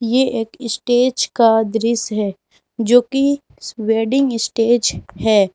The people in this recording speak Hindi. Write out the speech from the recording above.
ये एक स्टेज का दृश्य है जो की वेडिंग स्टेज है।